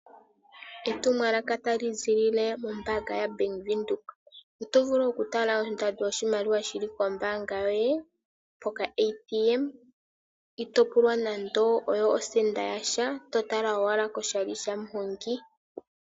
Etumwalaka tali ziilile mombaanga yaBank Windhoek. Oto vulu oku tala oshimaliwa shili kombaanga yoye pokaATM, itoo pulwa nando oyo osenda yasha, to tala owala koshali shamuhongi.